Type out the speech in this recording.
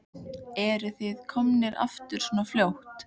Eruð þið komnir aftur svona fljótt?